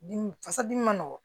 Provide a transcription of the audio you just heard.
Dimi fasa dimi ma nɔgɔn